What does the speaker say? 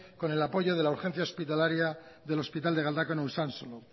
con el apoyo de la urgencia hospitalaria del hospital de galdakao usansolo